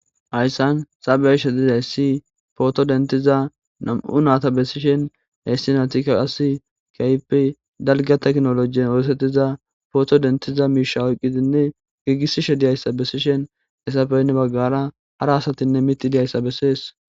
hayssan ta be7she dizayssi pooto dentiza nam7u naata bessishen heyssi natika qasi kaypi dalga teknolojiyen oosettiza pooto dentiza miisha oyqqidinne giigisishe diyayssa bessishen hessafeynne baggara hara asatinne miti diyayssa bessees